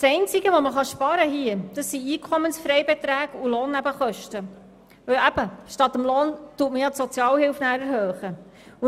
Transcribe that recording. Das Einzige, was sich hier sparen lässt, sind Einkommensfreibeträge und Lohnnebenkosten, weil statt des Lohns die Sozialhilfe erhöht wird.